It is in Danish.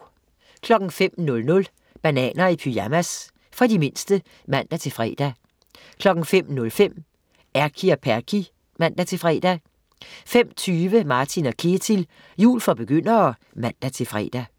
05.00 Bananer i pyjamas. For de mindste (man-fre) 05.05 Erky og Perky (man-fre) 05.20 Martin & Ketil, jul for begyndere (man-fre)